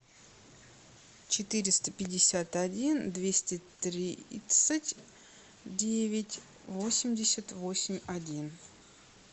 четыреста пятьдесят один двести тридцать девять восемьдесят восемь один